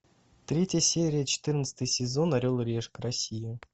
третья серия четырнадцатый сезон орел и решка россия